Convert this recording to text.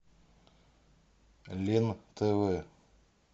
лен тв